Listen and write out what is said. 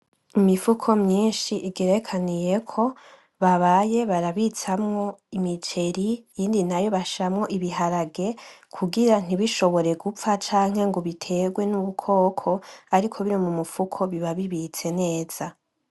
Imifuko myinshi igerekaniyeko babaye barabitsamwo umuceri iyindi nayo bashiramwo ibiharage kugira ntishobore gupfa canke ngo biterwe nudukoko ariko biri mumufu biba bibitse neza .